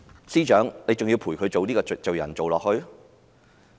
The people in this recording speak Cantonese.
司長，你還要陪伴她做罪人嗎？